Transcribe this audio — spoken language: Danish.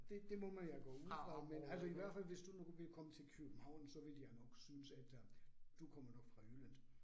Det det må man jo gå ud fra, men altså i hvert fald, hvis du nu ville komme til København, så ville de jo nok synes at øh, du kommer nok fra Jylland